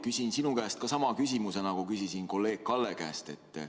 Küsin sinu käest sama küsimuse, nagu küsisin kolleeg Kalle käest.